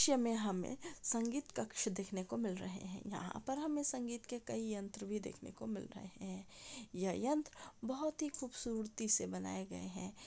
दृश में हमे संगीत कक्ष देखने को मिल रहे है यहा पर हमे संगीत के कई यंत्र भी देखने को मिल रहे है यह यंत्र बहुत ही खूबसूरतीसे बनाए गए है।